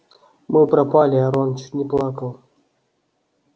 мы пропали рон чуть не плакал